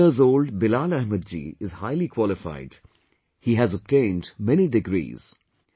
39 years old Bilal Ahmed ji is highly qualified, he has obtained many degrees